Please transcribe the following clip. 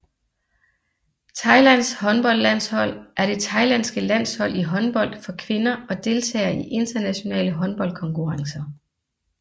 Thailands håndboldlandshold er det thailandske landshold i håndbold for kvinder og deltager i internationale håndboldkonkurrencer